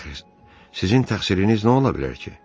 Sizin təqsiriniz nə ola bilər ki?